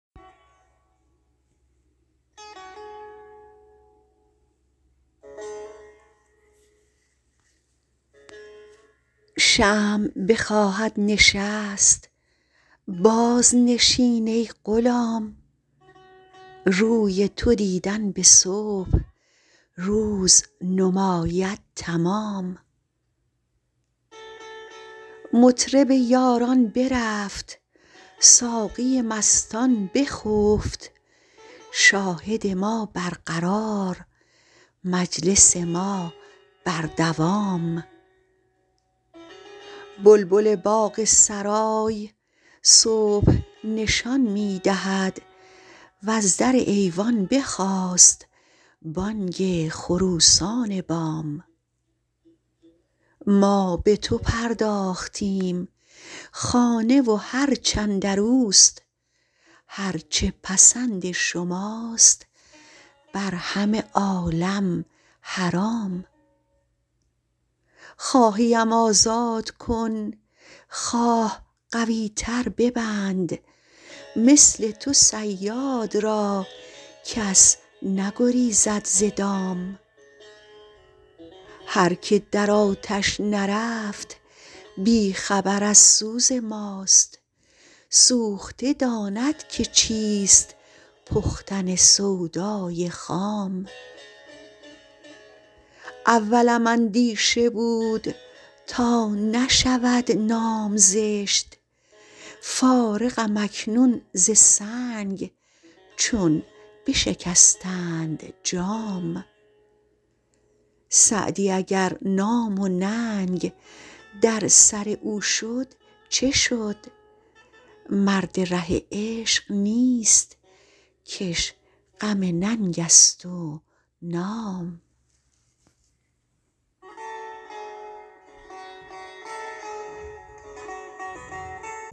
شمع بخواهد نشست بازنشین ای غلام روی تو دیدن به صبح روز نماید تمام مطرب یاران برفت ساقی مستان بخفت شاهد ما برقرار مجلس ما بر دوام بلبل باغ سرای صبح نشان می دهد وز در ایوان بخاست بانگ خروسان بام ما به تو پرداختیم خانه و هرچ اندر اوست هر چه پسند شماست بر همه عالم حرام خواهی ام آزاد کن خواه قوی تر ببند مثل تو صیاد را کس نگریزد ز دام هر که در آتش نرفت بی خبر از سوز ماست سوخته داند که چیست پختن سودای خام اولم اندیشه بود تا نشود نام زشت فارغم اکنون ز سنگ چون بشکستند جام سعدی اگر نام و ننگ در سر او شد چه شد مرد ره عشق نیست که اش غم ننگ است و نام